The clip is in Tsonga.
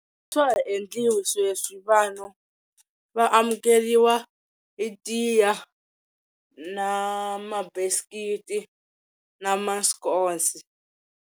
Swa ha endliwi sweswi vanhu va amukeriwa hi tiya na ma biscuit na mascones.